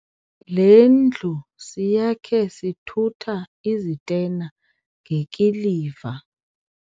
Le ndlu siyakhe sithutha izitena ngekiliva.